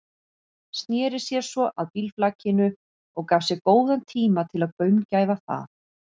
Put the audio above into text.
Sneri sér svo að bílflakinu og gaf sér góðan tíma til að gaumgæfa það.